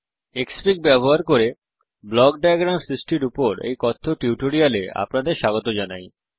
ক্সফিগ ব্যবহার করে block diagram সৃষ্টির উপর এই কথ্য টিউটোরিয়াল এ আপনাদের স্বাগত জানাই